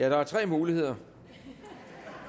er tre muligheder